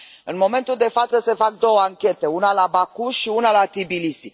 În momentul de față se fac două anchete una la Baku și una la Tbilisi.